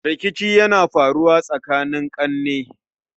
Rikici na iya faruwa tsakanin ƙane